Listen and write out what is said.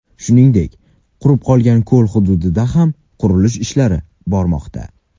Shuningdek, qurib qolgan ko‘l hududida ham qurilish ishlari bormoqda.